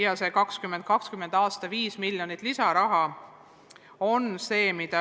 Ja 2020. aastal on see summa 5 miljonit eurot.